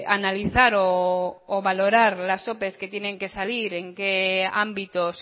analizar o valorar las opes que tienen que salir en qué ámbitos